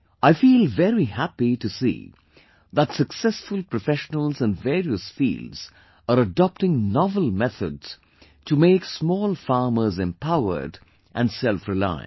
I feel very happy to see that successful professionals in various fields are adopting novel methods to make small farmers empowered and selfreliant